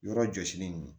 Yɔrɔ jɔsilen nin